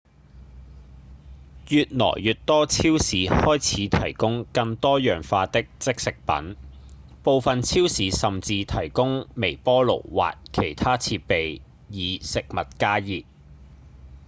越來越多超市開始提供更多樣化的即食品部分超市甚至提供微波爐或其他設備以食物加熱